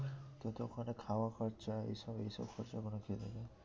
কিন্তু ওখানে খাওয়া খরচা এই সব, এই সব খরচা ওখানে কে দেবে?